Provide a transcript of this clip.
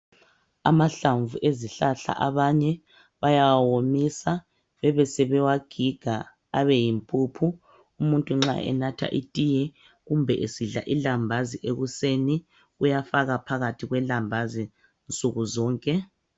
Amahlamvu ezihlahla abanye bayawawomisa bebesebewagiga abeyimpuphu. Umuntu nxa enatha itiye kumbe esidla ilambazi ekuseni, uyafaka phakathi kwelambazi nsuku zonke.